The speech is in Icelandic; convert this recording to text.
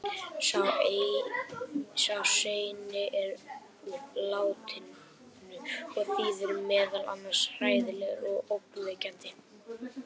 sá seinni er úr latínu og þýðir meðal annars „hræðilegur“ og „ógnvekjandi“